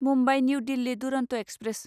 Mumbai new Delhi Duronto express